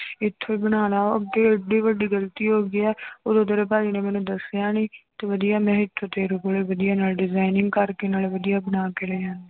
ਇੱਥੋਂ ਹੀ ਬਣਾ ਲਾ ਅੱਗੇ ਇੱਡੀ ਵੱਡੀ ਗ਼ਲਤੀ ਹੋ ਗਈ ਹੈ ਉਦੋਂ ਤੇਰੇ ਭਾਜੀ ਨੇ ਮੈਨੂੰ ਦੱਸਿਆ ਨੀ ਤੇ ਵਧੀਆ ਮੈਂ ਏਥੋਂ ਤੇਰੇ ਕੋਲੋਂ ਵਧੀਆ ਨਾਲੇ designing ਕਰਕੇ ਨਾਲੇ ਵਧੀਆ ਬਣਾ ਕੇ ਲੈ ਜਾਂਦੀ।